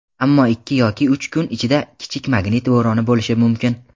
ammo ikki yoki uch kun ichida kichik magnit bo‘roni bo‘lishi mumkin.